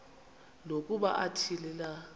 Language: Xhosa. nokuba athini na